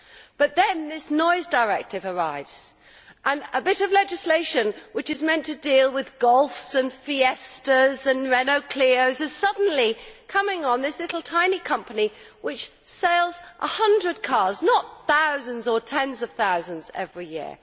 But then this Noise Directive arrives, and a bit of legislation which is meant to deal with Golfs, Fiestas and Renault Clios is suddenly imposed on this little tiny company which sells 100 cars, not thousands or tens of thousands, every year.